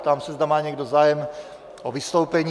Ptám se, zda má někdo zájem o vystoupení?